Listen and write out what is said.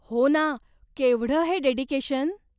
हो ना, केवढं हे डेडिकेशन.